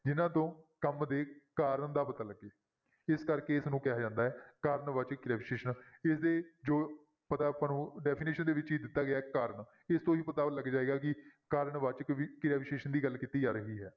ਜਿਹਨਾਂ ਤੋਂ ਕੰਮ ਦੇ ਕਾਰਨ ਦਾ ਪਤਾ ਲੱਗੇ ਇਸ ਕਰਕੇ ਇਸਨੂੰ ਕਿਹਾ ਜਾਂਦਾ ਹੈ ਕਾਰਨ ਵਾਚਕ ਕਿਰਿਆ ਵਿਸ਼ੇਸ਼ਣ, ਇਹਦੇ ਜੋ ਪਤਾ ਆਪਾਂ ਨੂੰ definition ਦੇ ਵਿੱਚ ਹੀ ਦਿੱਤਾ ਗਿਆ ਹੈ ਕਾਰਨ ਇਹਤੋਂ ਹੀ ਪਤਾ ਲੱਗ ਜਾਏਗਾ ਕਿ ਕਾਰਨ ਵਾਚਕ ਵੀ ਕਿਰਿਆ ਵਿਸ਼ੇਸ਼ਣ ਦੀ ਗੱਲ ਕੀਤੀ ਜਾ ਰਹੀ ਹੈ।